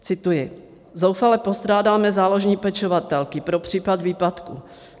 Cituji: Zoufale postrádáme záložní pečovatelky pro případ výpadku.